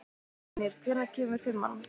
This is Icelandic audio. Brynjar, hvenær kemur fimman?